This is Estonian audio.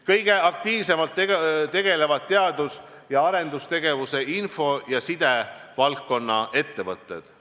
Kõige aktiivsemalt tegelevad teadus- ja arendustegevusega info- ja sidevaldkonna ettevõtted.